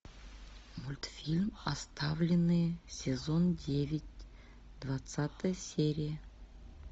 мультфильм оставленные сезон девять двадцатая серия